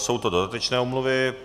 Jsou to dodatečné omluvy.